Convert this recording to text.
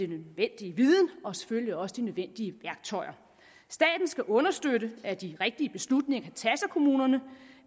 nødvendige viden og selvfølgelig også de nødvendige værktøjer staten skal understøtte at de rigtige beslutninger tages af kommunerne